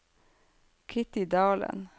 Kitty Dalen